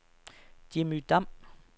Jimmy Dam